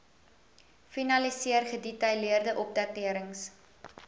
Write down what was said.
finaliseer gedetailleerde opdaterings